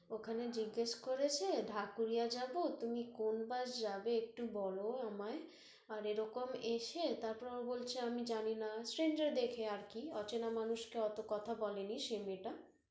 ওখানে জিজ্ঞেস করেছে, ঢাকুরিয়া যাব, তুমি কোন bus যাবে একটু বল আমায়, আর এরকম এসে, তারপর ও বলছে আমি জানিনা, stranger দেখে আরকি, অচেনা মানুষকে ওত কথা বলেনি সে মেয়েটা